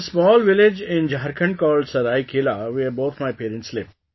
There is a small village in Jharkhand called Seraikela, where both my parents live